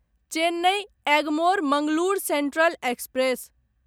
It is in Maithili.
Chennai Egmore Mangalore central express